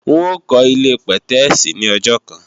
N ó kọ́ ilé-pẹ̀tẹ́èsì ní ọjọ́ kan